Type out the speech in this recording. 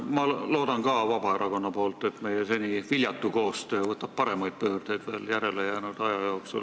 Ma loodan Vabaerakonna esindajana, et meie seni viljatu koostöö teeb järele jäänud aja jooksul pöörde paremale.